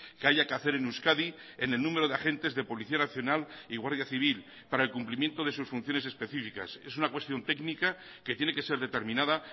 que haya que hacer en euskadi en el número de agentes de policía nacional y guardia civil para el cumplimiento de sus funciones específicas es una cuestión técnica que tiene que ser determinada